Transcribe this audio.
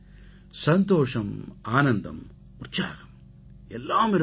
சந்தோஷம் ஆனந்தம் உற்சாகம் எல்லாம் இருக்க வேண்டும்